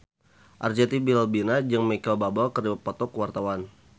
Arzetti Bilbina jeung Micheal Bubble keur dipoto ku wartawan